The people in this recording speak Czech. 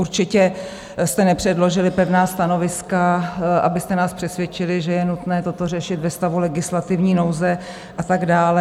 Určitě jste nepředložili pevná stanoviska, abyste nás přesvědčili, že je nutné toto řešit ve stavu legislativní nouze a tak dále.